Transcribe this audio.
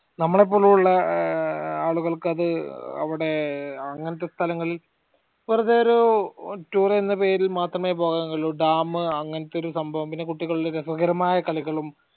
നമ്മളെപോലുള്ള ഏർ ആളുകൾക്കത് അവടെ അങ്ങനെത്തെ സ്ഥലങ്ങളിൽ വെറുതെ ഒരു tour എന്ന പേരിൽ മാത്രമേ പോകാൻ കഴിയുള്ളു dam അങ്ങനെത്തെ ഒരു സംഭവം പിന്നെ കുട്ടികളുടെ രസകരമായ കളികളും